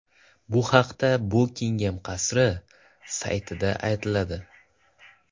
Bu haqda Bukingem qasri saytida aytiladi .